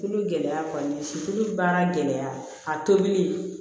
Tulu gɛlɛya kɔni si kolo baara gɛlɛya a tobili